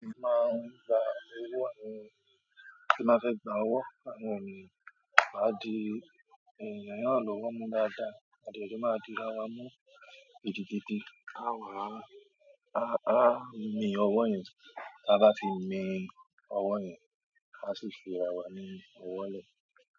A máa ń gba owó ẹni tí n bá fẹ́ gba ọwọ́ àwọn ènìyàn. Wà á di ènìyàn mìíràn lọ́wọ́ mú dáadáa, a dẹ̀ jọ máa di ara mú gidigidi. A wà á, a, a mi owó yẹn, tí a bá ti mi ọwọ́ yẹn, a sì fi ara wa ni ọwọ́ lẹ̀.